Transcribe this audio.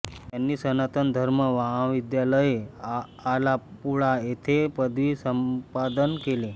त्यांनी सनातन धर्म महाविद्यालय आलापूळा येथे पदवी संपादन केले